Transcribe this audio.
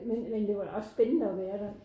Men men det var da også spændende at være der